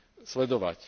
sledovať.